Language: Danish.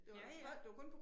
Ja ja